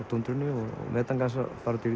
metangas að fara